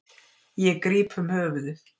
Ég gríp um höfuðið.